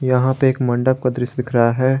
यहां पे एक मंडप का दृश्य दिख रहा है।